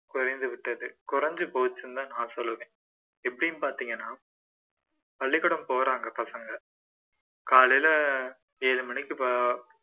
குறைந்து விட்டது குறைஞ்சு போச்சுன்னுதான் நான் சொல்லுவேன் எப்படீன்னு பாத்தீங்கன்னா பள்ளிக்கூடம் போறாங்க பசங்க காலைல ஏழு மணிக்கு